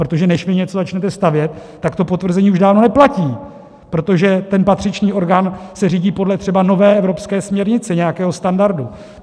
Protože než vy něco začnete stavět, tak to potvrzení už dávno neplatí, protože ten patřičný orgán se řídí podle třeba nové evropské směrnice, nějakého standardu.